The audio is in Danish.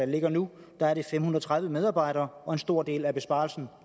ligger nu er det fem hundrede og tredive medarbejdere og en stor del af besparelsen